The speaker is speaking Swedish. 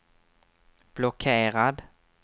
blockerad